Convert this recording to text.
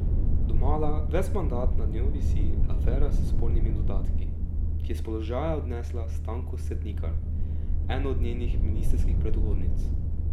Domala ves mandat nad njo visi afera s spornimi dodatki, ki je s položaja odnesla Stanko Setnikar, eno od njenih ministrskih predhodnic.